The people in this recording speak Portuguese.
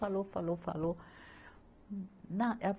Falou, falou, falou. Na